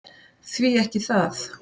Því ekki það?